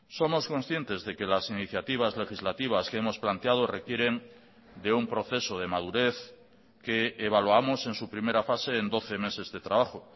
somos conscientes de que las iniciativas legislativas que hemos planteado requieren de un proceso de madurez que evaluamos en su primera fase en doce meses de trabajo